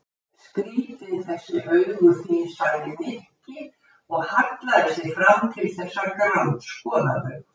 Skrýtin þessi augu þín sagði Nikki og hallaði sér fram til þess að grandskoða þau.